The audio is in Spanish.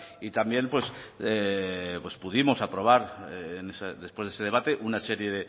y también pues pues pudimos aprobar después de ese debate una serie